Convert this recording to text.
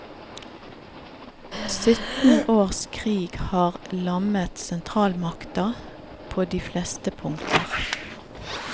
Sytten års krig har lammet sentralmakta på de fleste punkter.